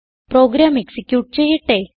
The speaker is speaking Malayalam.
പ്രോഗ്രാം എക്സിക്യൂട്ട് ചെയ്യട്ടെ